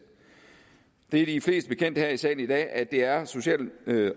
det er de fleste her i salen i dag bekendt at det er social